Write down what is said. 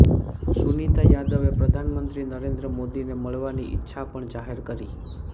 સુનિતા યાદવે પ્રધાનમંત્રી નરેન્દ્ર મોદીને મળવાની ઈચ્છા પણ જાહેર કરી